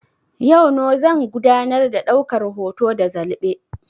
Yau no zan gudanar da daukar hoto ta zalɓe